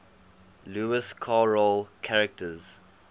lewis carroll characters